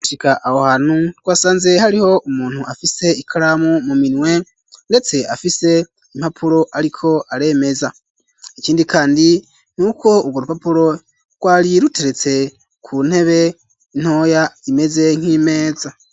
Tugishika aho hantu twasanze hariho umuntu afise ikaramu mu minwe ndetse afise impapuro ariko aremeza ikindi kandi nuko ugo rupapuro rwari ruteretse ku ntebe ntoya imeze nk'imeza.